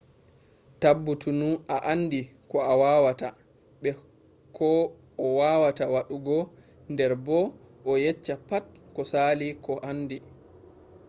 tabbutunu a andi ko a wawata be ko a wawata waddugo der bo a yecca pat ko sali ko handi